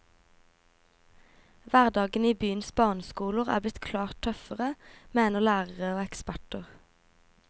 Hverdagen i byens barneskoler er blitt klart tøffere, mener lærere og eksperter.